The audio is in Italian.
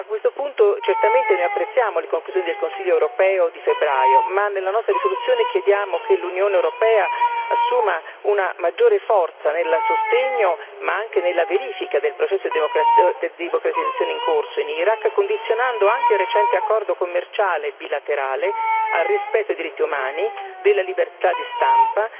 A questo punto certamente noi apprezziamo le conclusioni del Consiglio europeo di febbraio, ma nella nostra risoluzione chiediamo che l'Unione europea assuma una maggiore forza nel sostegno ma anche nella verifica del processo di democratizzazione in corso in Iraq, condizionando anche il recente accordo commerciale bilaterale al rispetto dei diritti umani, della libertà di stampa,